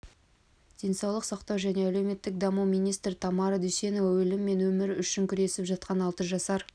денсаулық сақтау және әлеуметтік даму министрі тамара дүйсенова өлім мен өмір үшін күресіп жатқан алты жасар